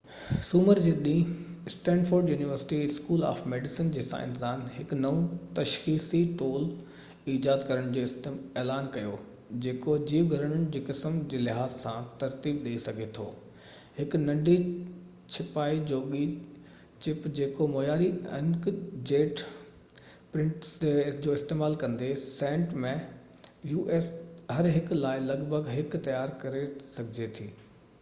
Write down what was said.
سومر جي ڏينهن Stanford University School of Medicine جي سائنسدانن هڪ نئون تشخيصي ٽول ايجاد ڪرڻ جو اعلان ڪيو جيڪو جيو گهرڙن جي قسمن جي لحاظ سان ترتيب ڏيئي سگهي ٿو هڪ ننڍي ڇپائيءِ جوڳي چپ جيڪو معياري انڪ جيٽ پرنٽرز جو استعمال ڪندي هر هڪ لاءِ لڳ ڀڳ هڪ u.s. سينٽ ۾ تيار ڪري سگهجي ٿي